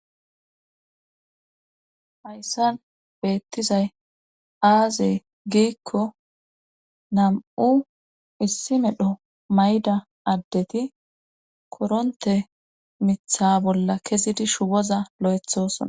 Hayssan beettizay aazee giikko nam'u issi medho mayda addeti koronte mitha bolla kezidi shuwoza loethoson.